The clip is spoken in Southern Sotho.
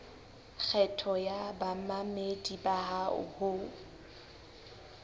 kgetho ya bamamedi bao ho